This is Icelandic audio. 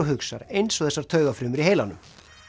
hugsar eins og þessar taugafrumur í heilanum